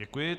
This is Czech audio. Děkuji.